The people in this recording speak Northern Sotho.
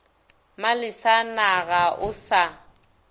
malesa na ga o sa